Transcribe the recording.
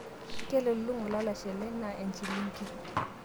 kelulunga olalashe lai anaa enchilingi